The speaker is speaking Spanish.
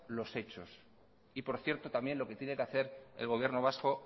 los hechos y por cierto también lo que tiene que hacer el gobierno vasco